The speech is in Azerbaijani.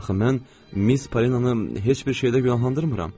Axı mən Miss Polinanı heç bir şeydə günahlandırmıram.